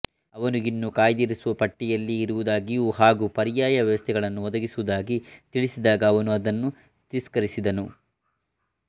ಅವನು ಇನ್ನೂ ಕಾಯ್ದಿರಿಸುವ ಪಟ್ಟಿಯಲ್ಲಿಯೇ ಇರುವುದಾಗಿಯೂ ಹಾಗೂ ಪರ್ಯಾಯ ವ್ಯವಸ್ಥೆಗಳನ್ನು ಒದಗಿಸುವುದಾಗಿ ತಿಳಿಸಿದಾಗ ಅವನು ಅದನ್ನು ತಿಸ್ಕರಿಸಿದನು